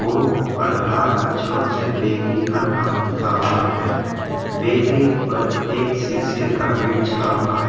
Board पर लाल अक्षरों से बेकरी का नाम लिखा हुआ है बेकरी पर एक सीसे का गेट चड़ा हुआ है।